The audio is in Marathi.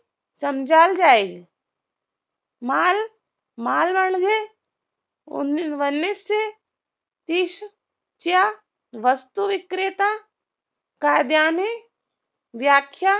समजाल जाईल माल, माल म्हणजे वन्नीसशे तीस च्या वस्तू विक्रेता कायद्याने व्याख्या